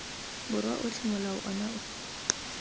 borwa otlhe molao ono o